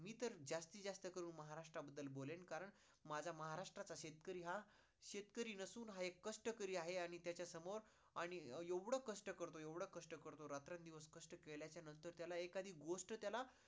मी तर जास्तीत जास्त करून महाराष्ट्र बदलेल बोलेल कारण माझा महाराष्ट्र चा शेतकरी हा शेतकरी नसून हा एक कष्टकरी आहे आणि त्याचा समोर आणि येवढ कष्ट करतोय, येवढ कष्ट करतोय रात्रं दिवस कष्ट केल्याच्या नंतर एखादी गोष्ट त्याला